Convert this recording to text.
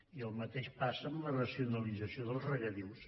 i el mateix passa amb la racionalització dels regadius